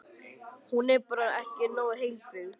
Hún er bara ekki nógu heilbrigð.